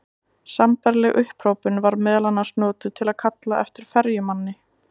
Sambærileg upphrópun var meðal annars notuð til að kalla eftir ferjumanni.